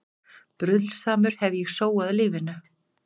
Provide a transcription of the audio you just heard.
Bruðlsamur hef ég sóað lífinu.